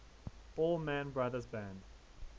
allman brothers band